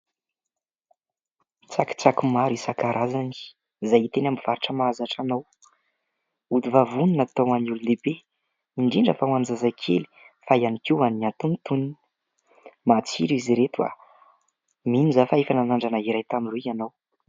Tsakitsaky maro isan-karazany izay hita eny amin'ny mpivarotra mahazatra anao. Ody vavony natao ho an'ny olon-dehibe indrindra fa ho an'ny zazakely fa ihany koa ho an'ny antonontonony. Matsiro izy ireto. Mino aho fa efa nanandrana tamin'ireo ianao.